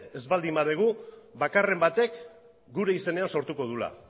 ez baldin badugu bakarren batek gure izenean sortuko duela